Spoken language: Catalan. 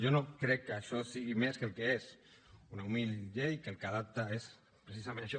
jo no crec que això sigui més que el que és una humil llei que el que adapta és precisament això